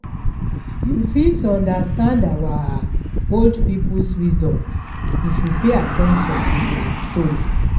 You fit understand our old people’s wisdom if you pay at ten tion to their stories.